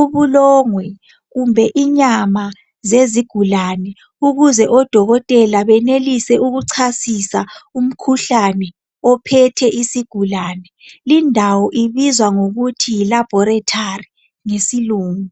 ubulongwe kumbe inyama zezigulane ukuze oDokotela benelise ukuchasisa umkhuhlane ophethe isigulane. Lindawo ibizwa ngokuthi yi laboratory ngesilungu .